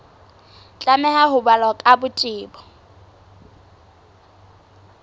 tlameha ho balwa ka botebo